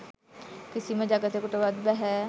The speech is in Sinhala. කිසිම ජගතෙකුටවත් බැහැ.